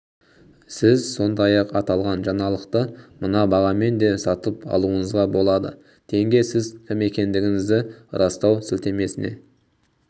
сіз сондай-ақ аталған жаңалықты мына бағамен де сатып алуыңызға болады тенге сіз кім екендігіңізді растау сілтемесіне